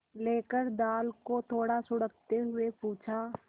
लेकर दाल को थोड़ा सुड़कते हुए पूछा